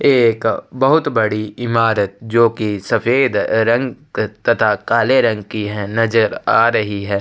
एक बहुत बड़ी इमारत जो कि सफेद रंग तथा काले रंग की है नज़र आ रही है।